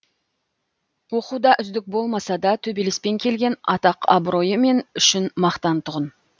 оқуда үздік болмаса да төбелеспен келген атақ абыройы мен үшін мақтан тұғын